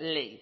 ley